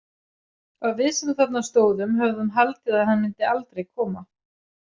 Og við sem þarna stóðum höfðum haldið að hann myndi aldrei koma.